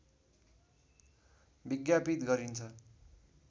विज्ञापित गरिन्छ